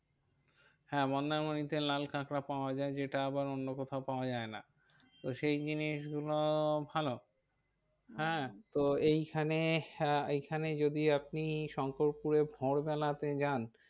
হ্যাঁ মন্দারমণিতে লাল কাঁকড়া পাওয়া যায় যেটা আবার অন্য কোথাও পাওয়া যায় না। তো সেই জিনিস গুলো ভালো হ্যাঁ তো এইখানে হ্যাঁ এইখানে যদি আপনি শঙ্করপুরে ভোর বেলাতে যান।